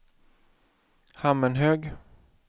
Hammenhög